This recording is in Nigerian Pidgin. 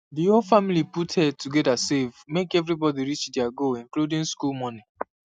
the whole family put head together save make everybody reach their goal including school money